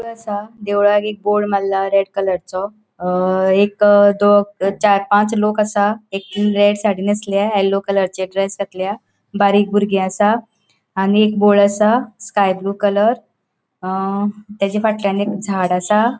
असा देवळाक एक बोर्ड मारला रेड कलरसो अ एक दोन चार पाच लोक असा एक साड़ी नेसल्या येल्लो कलरचे ड्रेस घातल्या बारीक बुरगी असा आणिक बोर्ड असा स्काय ब्लू कलर अ तचा फाटल्याण एक झाड़ असा.